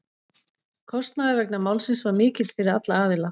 Kostnaður vegna málsins var mikill fyrir alla aðila.